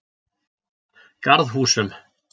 Garðhúsum